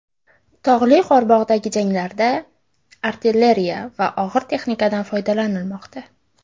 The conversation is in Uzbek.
Tog‘li Qorabog‘dagi janglarda artilleriya va og‘ir texnikadan foydalanilmoqda .